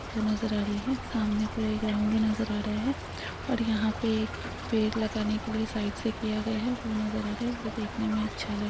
वो नज़र आ रही है। सामने पूरा ग्राउन्ड नजर आ रहा है और यहाँ पे एक पेड़ लगाने के लिए साइड से किया गया है वो नज़र आ रहा है। वो देखने मे अच्छा लग --